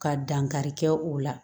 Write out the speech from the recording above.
Ka dankarikɛ o la